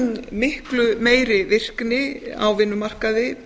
miklu meiri virkni beggja kynja á vinnumarkaði